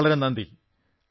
വളരെ വളരെ നന്ദി